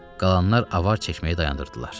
Qalanlar avar çəkməyi dayandırdılar.